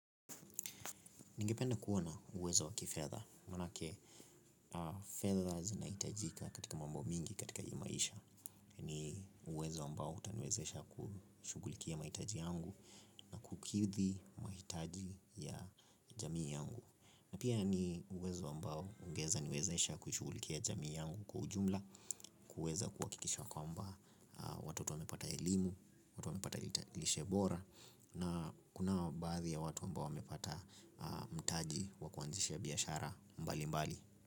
Ningependa kuwa na uwezo wa kifedha, maanake fedha zinahitajika katika mambo mingi katika hii maisha. Ni uwezo ambao utaniwezesha kushughulikia mahitaji yangu na kukidhi mahitaji ya jamii yangu. Na pia ni uwezo ambao ungeweza niwezesha kushughulikia jamii yangu kwa ujumla, kuweza kuhakikisha kwamba watoto wamepata elimu, watoto wamepata lishe bora, na kunao baadhi ya watu ambao wamepata mtaji wa kuanzisha biashara mbalimbali.